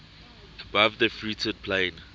above the fruited plain